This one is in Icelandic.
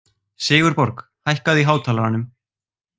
Sigurborg, hækkaðu í hátalaranum.